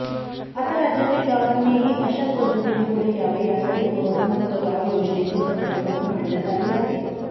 आता राज्यातील गावांनीही अशाच पद्धतीने पुढे यावे यासाठी कोरोनामुक्त गाव योजनेची संकल्पना मांडण्यात आली आहे